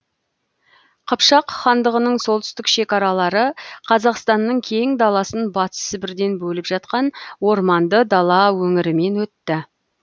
қыпшақ хандығының солтүстік шекаралары қазақстанның кең даласын батыс сібірден бөліп жатқан орманды дала өңірімен өтті